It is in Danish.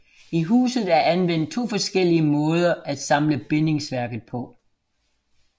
I huset er anvendt to forskellige måder at samle bindingsværket på